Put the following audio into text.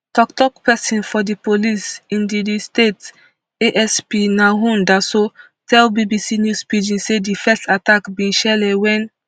toktok pesin for di police in di di state asp nahum daso tell bbc news pidgin say di first attack bin shele wen